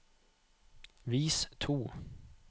vis to